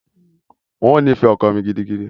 N ó nífẹ̀ẹ́ ọkọ mi gidigidi.